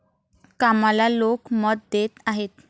कामाला लोक मत देत आहेत.